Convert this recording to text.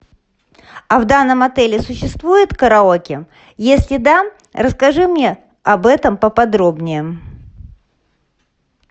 а в данном отеле существует караоке если да расскажи мне об этом поподробнее